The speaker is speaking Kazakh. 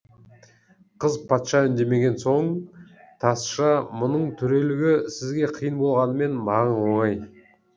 қыз патша үндемеген соң тазша мұның төрелігі сізге қиын болғанымен маған оңай